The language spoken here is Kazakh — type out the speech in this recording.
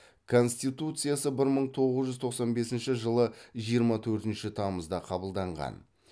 конституциясы бір мың тоғыз жүз тоқсан бесінші жылы жиырма төртінші тамызда қабылданған